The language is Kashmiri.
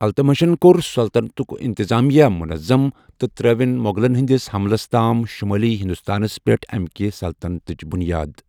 التمشن کوٚر سلطنتک اِنتظامیہ منظم ، تہٕ ترٚٲوِن مغلن ہِنٛدِس حملس تام شمٲلی ہندوستانس پیٹھ امہِ كہِ سلطنتٕچ بُنیاد ۔